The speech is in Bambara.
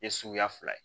Ye suguya fila ye